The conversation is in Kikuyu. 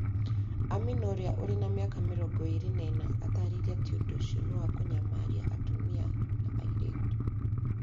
Amina, ũrĩa ũrĩ mĩaka mĩrongo ĩrĩ na inya, aataarĩirie atĩ ũndũ ũcio nĩ wa kũnyamaria atumia na airĩtu.